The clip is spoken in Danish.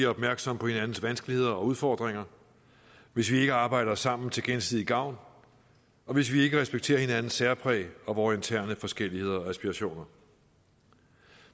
opmærksomme på hinandens vanskeligheder og udfordringer hvis vi ikke arbejder sammen til gensidig gavn og hvis vi ikke respekterer hinandens særpræg og vore interne forskelligheder og aspirationer